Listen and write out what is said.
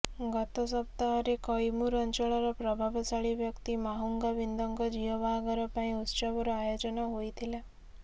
ଗତ ସପ୍ତାହରେ କଇମୁର ଅଞ୍ଚଳର ପ୍ରଭାବଶାଳୀ ବ୍ୟକ୍ତି ମାହାଙ୍ଗୁ ବିନ୍ଦଙ୍କ ଝିଅ ବାହାଘର ପାଇଁ ଉତ୍ସବର ଆୟୋଜନ ହୋଇଥିଲା